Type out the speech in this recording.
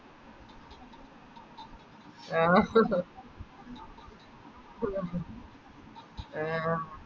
ആഹ് ഹ ഹാ ആഹ്